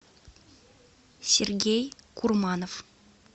сергей курманов